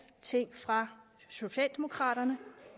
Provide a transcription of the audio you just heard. ting fra socialdemokraterne